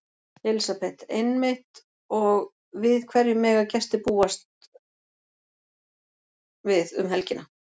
Elísabet: Einmitt og við hverju mega gestir búast við um helgina?